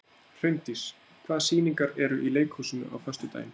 Hraundís, hvaða sýningar eru í leikhúsinu á föstudaginn?